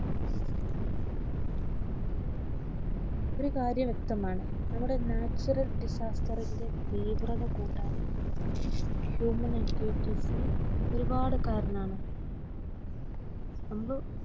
ഒരു കാര്യം വ്യക്തമാണ് നമ്മുടെ natural disaster റിന്റെ തീവ്രത കൂട്ടാൻ human activity സ് ഒരുപാട്കാരനാണ് നമ്മുടെ